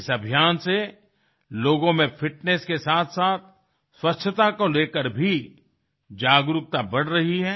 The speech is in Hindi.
इस अभियान से लोगों में फिटनेस के साथसाथ स्वच्छता को ले कर भी जागरूकता बढ़ रही है